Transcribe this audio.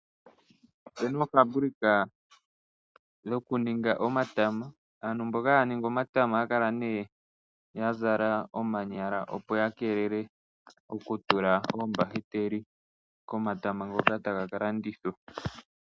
Opena ofambulika dhoku ninga omatama, aantu mboka haa ningi omatama ohaakala yazala omanyala opo yakeelele okutula oombahiteli komatama ngoka taga kalandithwapo.